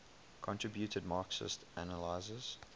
contributed marxist analyses